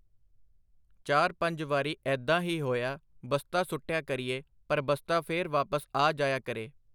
ਚਾਰ ਪੰਜ ਵਾਰੀ ਐਦਾ ਹੀ ਹੋਇਆ ਬਸਤਾ ਸੁੱਟਿਆ ਕਰੀਏ ਪਰ ਬਸਤਾ ਫਿਰ ਵਾਪਿਸ ਆ ਜਾਇਆ ਕਰੇ.